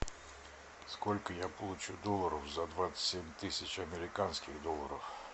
сколько я получу долларов за двадцать семь тысяч американских долларов